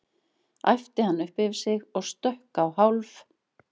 æpti hann upp yfir sig og stökk á hálf